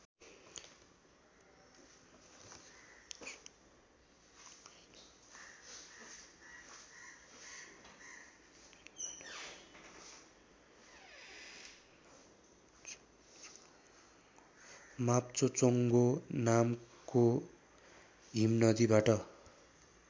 माप्चोचोङ्गो नामको हिमनदीबाट